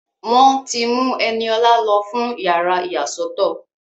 Wọ́n ti mú Ẹniọlá lọ fún yàrá ìyàsọ́tọ̀